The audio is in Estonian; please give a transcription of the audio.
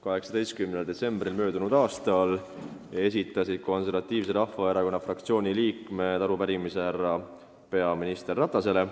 18. detsembril möödunud aastal esitasid Konservatiivse Rahvaerakonna fraktsiooni liikmed arupärimise härra peaminister Ratasele.